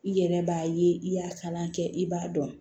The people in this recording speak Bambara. I yɛrɛ b'a ye i y'a kalan kɛ i b'a dɔn